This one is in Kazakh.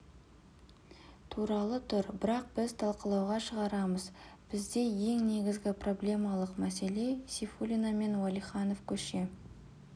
туралы тұр бірақ біз талқылауға шығарамыз бізде ең негізгі проблемалық мәселе сейфуллина мен уәлиханов көше